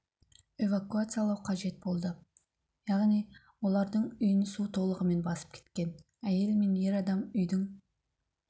эвакуациялау қажет болды яғни олардың үйін су толығымен басып кеткен әйел мен ер адам үйдің